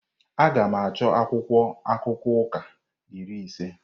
Aga m achọ akwụkwọ akụkọ ụka iri ise.